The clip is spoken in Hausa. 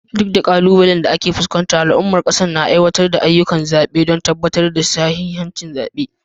Duk da ƙalubalen da ake fuskanta, al'ummar ƙasar na aiwatar da ayyukan zaɓe don tabbatar da sahihin zaɓe.